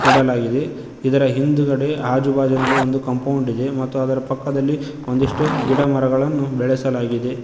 ಇಡಲಾಗಿದೆ ಇದರ ಹಿಂದ್ಗಡೆ ಆಜುಬಾಜಿನಲ್ಲಿ ಒಂದು ಕಾಂಪೌಂಡ್ ಇದೆ ಮತ್ತು ಅದರ ಪಕ್ಕದಲ್ಲಿ ಒಂದಿಷ್ಟು ಗಿಡಮರಗಳನ್ನು ಬೆಳೆಸಲಾಗಿದೆ.